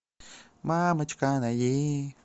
мамочка найди